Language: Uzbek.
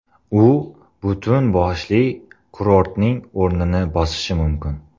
U butun boshli kurortning o‘rnini bosishi mumkin.